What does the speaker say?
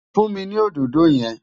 Fún mi ní òdòdó yẹn!